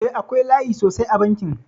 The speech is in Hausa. Eh, akwai layi sosai a bankin.